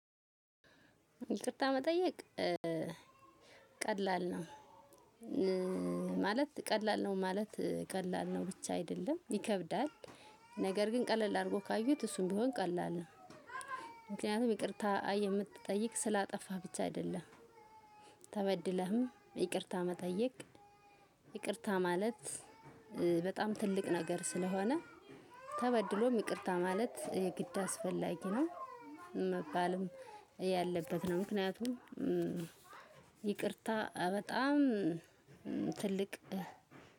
ይቅርታ መጠየቅ ቀላል ነው። ማለት ቀላል ነው ማለት ቀላል ነው ብቻ አይደለም ይከብዳል። ነገር ግን ቀለል አድርገው ካዩት እሱም ቢሆን ቀላል ነው። ምክንያቱም ይቅርታ የምትጠይቅ ስላጠፋ ብቻ አይደለም። ተበድለህም ይቅርታ መጠየቅ ይቅርታ ማለት በጣም ትልቅ ነገር ስለሆነ ተበድሎም ይቅርታ ማለት የግድ አስፈላጊ ነው። መባልም ያለበት ነው። ምክንያቱም ይቅርታ በጣም ትልቅ